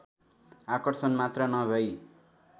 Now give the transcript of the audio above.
आकर्षण मात्र नभई